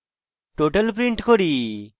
total print করি